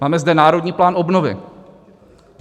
Máme zde Národní plán obnovy.